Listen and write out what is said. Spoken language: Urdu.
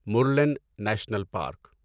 Murlen national park